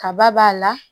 Kaba b'a la